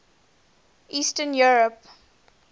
eastern europe